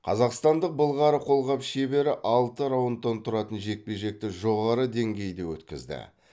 қазақстандық былғары қолғап шебері алты раундтан тұратын жекпе жекті жоғары деңгейде өткізді